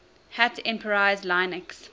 hat enterprise linux